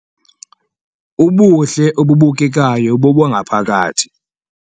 Ubuhle obubukekayo bobangaphakathi